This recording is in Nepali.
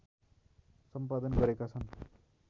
सम्पादन गरेका छन्